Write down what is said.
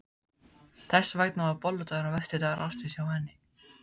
Þess vegna var bolludagurinn versti dagur ársins hjá henni.